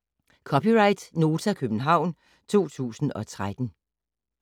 (c) Nota, København 2013